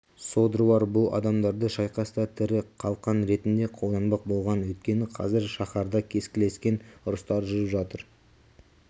содырлар бұл адамдарды шайқаста тірі қалқан ретінде қолданбақ болған өйткені қазір шаһарда кескілескен ұрыстар жүріп жатыр